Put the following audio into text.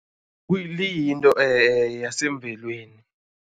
Liyinto yasemvelweni.